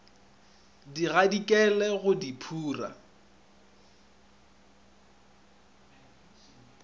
di gadikele go di phura